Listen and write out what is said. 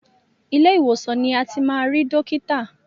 Ilé ìwòsàn ni a ti máa ri dọ́kítà.